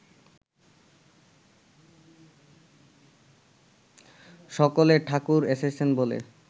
সকলে ‘ঠাকুর এসেছেন’ বলে